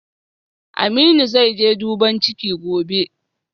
Aminu zaije duban ciki gobe